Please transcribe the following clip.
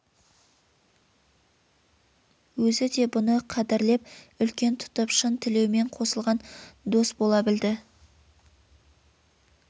өзі де бұны қадірлеп үлкен тұтып шын тілеумен қосылған дос бола білді